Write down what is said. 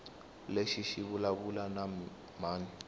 lexi xi vulavula na mani